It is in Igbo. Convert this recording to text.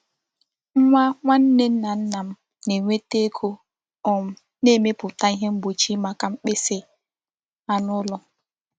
Nwa nwanne nna nna m na-enweta ego um na-emepụta ihe mgbochi maka mkpịsị anụ ụlọ.